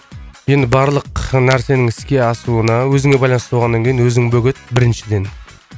енді барлық нәрсенің іске асуына өзіңе байланысты болғаннан кейін өзің бөгет біріншіден